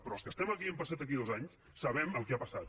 però els que estem aquí i hem passat aquí dos anys sabem el que ha passat